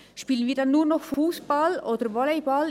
Spielen wir dann «nur» noch Fussball oder Volleyball?